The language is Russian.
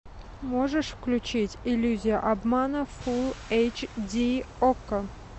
можешь включить иллюзия обмана фулл эйч ди окко